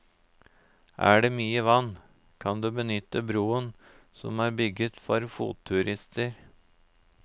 Er det mye vann, kan du benytte broen som er bygget for fotturister.